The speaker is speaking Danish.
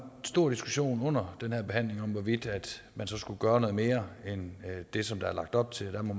stor diskussion under den her behandling om hvorvidt man så skulle gøre noget mere end det som der er lagt op til og der må